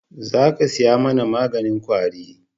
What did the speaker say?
Za ka saya mana maganin kwari